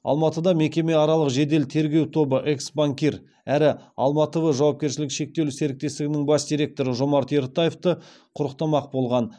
алматыда мекемеаралық жедел тергеу тобы экс банкир әрі алма тв жауапкершілігі шектеулі серіктестігінің бас директоры жомарт ертаевты құрықтамақ болған